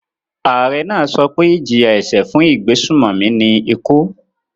Ààrẹ náà sọ pé ìjìyà-ẹ̀ṣẹ̀ fún ìgbésùnmòmí ni ikú.